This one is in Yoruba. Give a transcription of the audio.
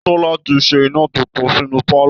Tọ́lá ti ṣe iná tuntun sínú pálọ̀